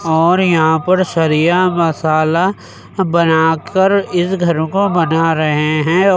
ओर यहाँ पर सरिया मसाला बना कर इस घर को बना रहे हैं और --